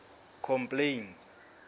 complaints